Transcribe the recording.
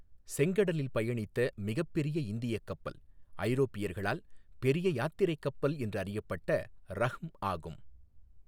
செங்கடலில் பயணித்த மிகப்பெரிய இந்தியக் கப்பல், ஐரோப்பியர்களால் பெரிய யாத்திரை கப்பல் என்று அறியப்பட்ட ரஹ்ம் ஆகும்,.